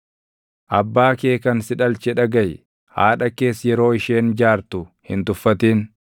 Abbaa kee kan si dhalche dhagaʼi; haadha kees yeroo isheen jaartu hin tuffatin.